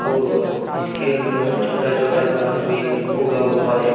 और इसके अंदर छोटा छोटा घास भी उगा हुआ है।